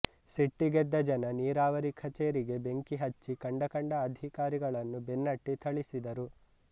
ಸಿಟ್ಟಿಗೆದ್ದ ಜನ ನೀರಾವರಿ ಕಚೇರಿಗೆ ಬೆಂಕಿ ಹಚ್ಚಿ ಕಂಡ ಕಂಡ ಅಧಿಕಾರಿಗಳನ್ನು ಬೆನ್ನಟ್ಟಿ ಥಳಿಸಿದರು